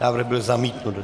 Návrh byl zamítnut.